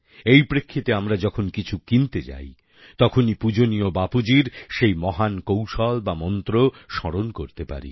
এই প্রেক্ষিতে আমরা যখন কিছু কিনতে যাই তখনই পূজনীয় বাপুজীর সেই মহান কৌশল বা মন্ত্র স্মরণ করতে পারি